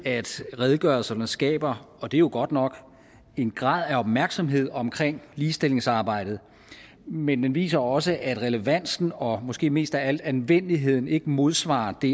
at redegørelserne skaber og det er jo godt nok en grad af opmærksomhed omkring ligestillingsarbejdet men den viser også at relevansen og måske mest af alt anvendeligheden ikke modsvarer det